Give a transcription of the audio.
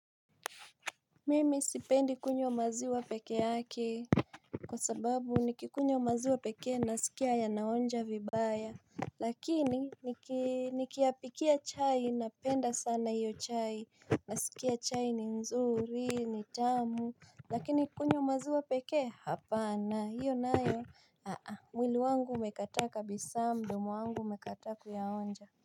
Mimi sipendi kunywa maziwa peke yake Kwa sababu nikikunywa maziwa pekee nasikia yanaonja vibaya Lakini nikiyapikia chai napenda sana iyo chai nasikia chai ni nzuri, ni tamu Lakini kunywa maziwa pekee, hapana, hiyo nayo mwili wangu umekata kabisa mdomo wangu umekata kuyaonja.